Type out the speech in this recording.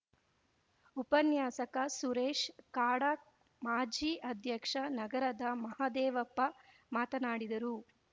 ಉಪನ್ಯಾಸಕ ಸುರೇಶ್‌ ಕಾಡಾ ಮಾಜಿ ಅಧ್ಯಕ್ಷ ನಗರದ ಮಹದೇವಪ್ಪ ಮಾತನಾಡಿದರು